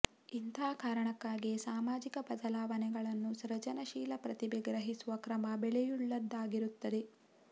ಇಂಥ ಕಾರಣಕ್ಕಾಗಿಯೇ ಸಾಮಾಜಿಕ ಬದಲಾವಣೆಗಳನ್ನು ಸೃಜನಶೀಲ ಪ್ರತಿಭೆ ಗ್ರಹಿಸುವ ಕ್ರಮ ಬೆಲೆಯುಳ್ಳದ್ದಾಗಿರುತ್ತದೆ